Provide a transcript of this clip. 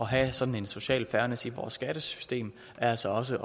have sådan en social fairness i vores skattesystem er altså også